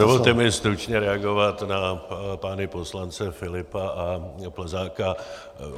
Dovolte mi stručně reagovat na pány poslance Filipa a Plzáka.